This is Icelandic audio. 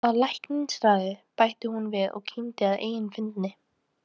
Að læknisráði, bætti hún við og kímdi að eigin fyndni.